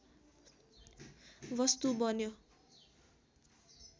वस्तु बन्यो